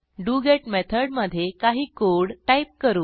डोगेत method मधे काही code type करू